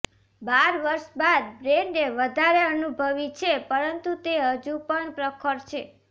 બાર વર્ષ બાદ બેન્ડે વધારે અનુભવી છે પરંતુ તે હજુ પણ પ્રખર છે